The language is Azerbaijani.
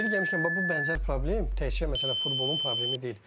Yeri gəlmişkən, bax bu bənzər problem təkcə məsələn futbolun problemi deyil.